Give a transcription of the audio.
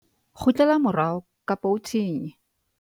kgutlela morao kapa o thinye